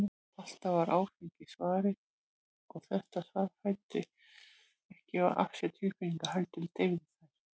Alltaf var áfengi svarið, og þetta svar fæddi ekki af sér tilfinningar, heldur deyfði þær.